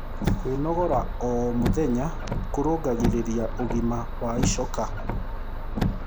Kwĩnogora oh mũthenya kũrũngagĩrĩrĩa ũgima wa ĩchoka